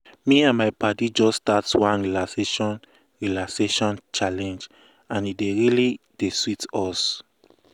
me and my padi just start one relaxation relaxation challenge and e really dey sweet us.